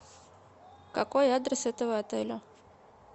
какой адрес этого отеля